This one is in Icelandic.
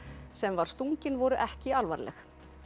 sem var stunginn voru ekki alvarleg